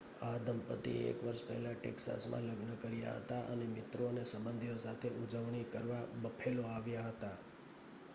આ દંપતીએ 1 વર્ષ પહેલા ટેક્સાસમાં લગ્ન કર્યા હતા અને મિત્રો અને સંબંધીઓ સાથે ઉજવણી કરવા બફેલો આવ્યા હતા